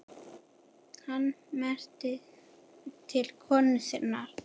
Hann mælti til konu sinnar